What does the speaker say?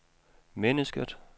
mennesket